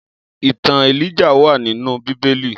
Itàn Élijáh wà ninú Bibéli